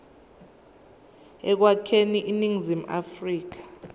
ekwakheni iningizimu afrika